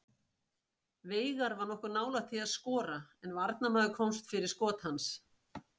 Veigar var nokkuð nálægt því að skora en varnarmaður komst fyrir skot hans.